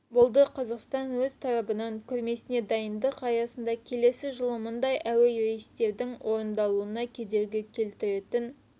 болды қазақстан өз тарабынан көрмесіне дайындық аясында келесі жылы мұндай әуе рейстерінің орындалуына кедергі келтіретін